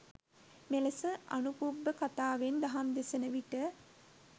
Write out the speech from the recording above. මෙලෙස අනුපුබ්බ කථාවෙන් දහම් දෙසනවිට